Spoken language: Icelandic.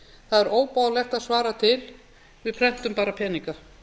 það er óboðlegt að svara til við prentum bara peninga